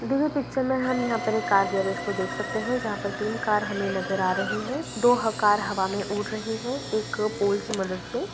दी गई हुई पिक्चर में हम यहाँ पर एक कार गैरेज को देख सकते हैं जहाँ पर तीन कार हमें नज़र आ रहीं हैं दो कार हवा में उड़ रही हैं एक पोल की मदद से।